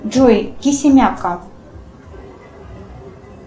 джой кисимяка